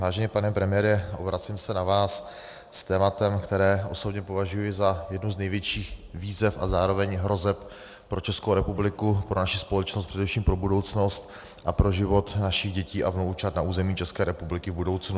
Vážený pane premiére, obracím se na vás s tématem, které osobně považuji za jednu z největších výzev a zároveň hrozeb pro Českou republiku, pro naši společnost, především pro budoucnost a pro život našich dětí a vnoučat na území České republiky v budoucnu.